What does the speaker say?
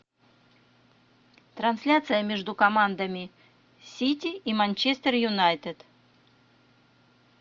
трансляция между командами сити и манчестер юнайтед